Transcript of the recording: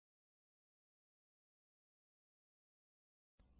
ನಿಜವಾಗಲೂ ಈ ಫೈಲ್ ಗಳು ಕಾಪಿಯಾಗಿವೆಯೇ ಎಂದು ನೋಡಲು ಎಲ್ಎಸ್ homeanirbantestdir ಎಂದು ಟೈಪ್ ಮಾಡಿ enter ಒತ್ತಿ